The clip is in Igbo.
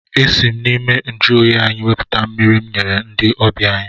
Esi m n'ime njụoyi anyị wepụta mmiri m nyere ndị ọbịa anyị.